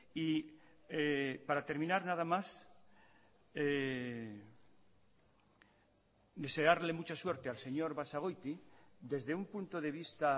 y para terminar nada más desearle mucha suerte al señor basagoiti desde un punto de vista